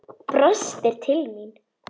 Brostir til mín.